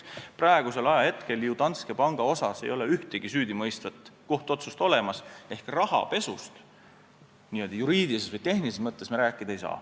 Praegu ei ole ju Danske panga kohta ühtegi süüdimõistvat kohtuotsust olemas ehk rahapesust n-ö juriidilises või tehnilises mõttes me rääkida ei saa.